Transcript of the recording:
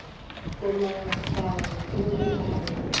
komangkanna o be a re